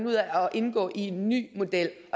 ud af at indgå i en ny model